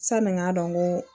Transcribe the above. Sani n k'a dɔn n ko